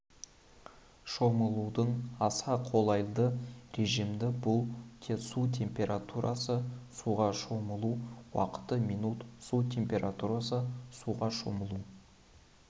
шомылудың аса қолайды режимдері бұл су температурасы суға шомылу уақыты минут су температурасы суға шомылу